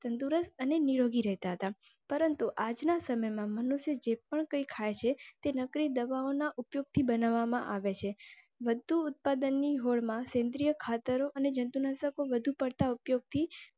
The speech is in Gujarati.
તંદુરસ્ત અને નિરોગી રેતા તા પરંતુ આજના સમયમાં મનુષ્ય જે પણ કઈ ખાય છે તે નકલી દવાઓના ઉપયોગથી બનાવવામાં આવે છે. બધું ઉત્પાદન ની હોડમાં સેન્દ્રિય ખાતરો અને જંતુનાશકો વધુ પડતા ઉપયોગથી.